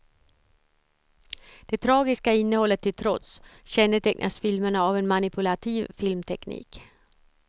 Det tragiska innehållet till trots kännetecknas filmerna av en manipulativ filmteknik.